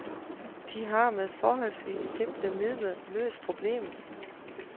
De har med forholdsvis simple midler løst problemet.